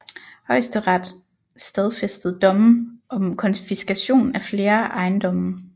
Højesteret stadfæstede domme om konfiskation af flere ejendomme